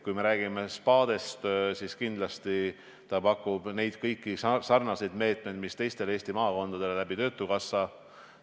Kui räägime spaadest, siis kindlasti pakub see pakett kõiki neid sarnaseid meetmeid, mida teistelegi Eesti maakondadele töötukassa.